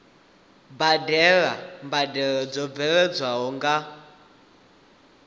badela mbadelo dzo bveledzwaho nga